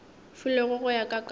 filwego go ya ka karolo